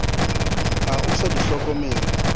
ha o sa di hlokomele